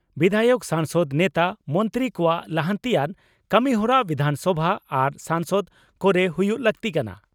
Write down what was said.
ᱵᱤᱫᱷᱟᱭᱚᱠ ᱥᱚᱝᱥᱚᱫ ᱱᱮᱛᱟ ᱢᱚᱱᱛᱨᱤ ᱠᱚᱣᱟᱜ ᱞᱟᱦᱛᱤᱭᱟᱱ ᱠᱟᱹᱢᱤᱦᱚᱨᱟ ᱵᱤᱫᱷᱟᱱ ᱥᱚᱵᱷᱟ ᱟᱨ ᱥᱚᱝᱥᱚᱫᱽ ᱠᱚᱨᱮ ᱦᱩᱭᱩᱜ ᱞᱟᱜᱛᱤᱜ ᱠᱟᱱᱟ ᱾